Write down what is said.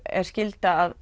er skylda að